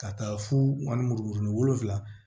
Ka taa fo ani muru ni wolonwula